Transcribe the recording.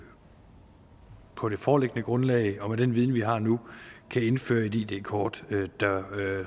på det foreliggende grundlag og med den viden vi har nu kan indføre et id kort der